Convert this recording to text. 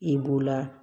I b'o la